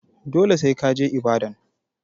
Dole sai ka je Ibadan.